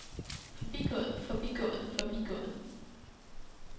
forbigået forbigået forbigået